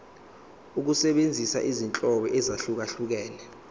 ukusebenzisa izinhlobo ezahlukehlukene